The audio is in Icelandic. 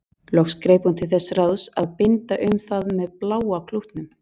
Loks greip hún til þess ráðs að binda um það með bláa klútnum.